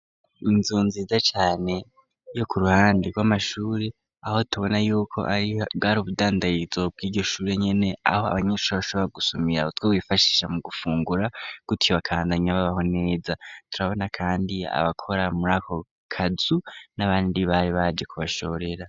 Inzu nziza cane yo ku ruhande rw'amashuri aho tubona yuko bwari ubudandarizo bw'iryo shuri nyene, aho abanyeshuri bashobora gusumira utwo bifashisha mu gufungura gutyo bakandanya babaho neza, turabona kandi abakora muri ako kazu n'abandi bari baje kubashorera.